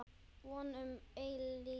Von um eilíft líf.